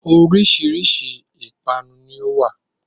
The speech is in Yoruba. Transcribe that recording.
Oríṣìíríṣìí ìpanu ni ó wá.